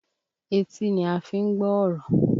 Etí ni a fi ń gbọ́ ọ̀rọ̀